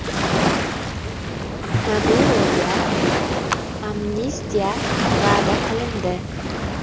Maduroga “amnistiya” va’da qilindi.